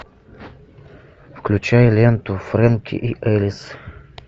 включай ленту фрэнки и элис